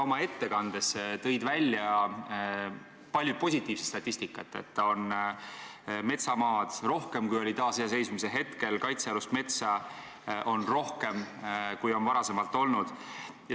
Oma ettekandes tõid sa välja palju positiivset statistikat: metsamaad on rohkem, kui oli taasiseseisvumise hetkel, kaitsealust metsa on rohkem, kui on varem olnud.